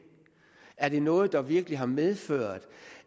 er det noget der virkelig har medført